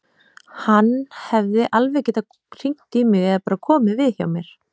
Hann hefði alveg getað hringt í mig eða bara komið við hjá mér.